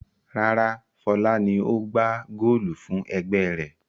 Rárá, Fọlá ni ó gbá góólù fún ẹgbẹ́ rẹ̀.